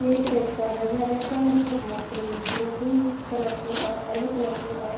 ये एक रेस्टोरेंट है रेस्टोरेंट मैं आइस क्रीम हैं पिंक कलर के और येलो कलर के और।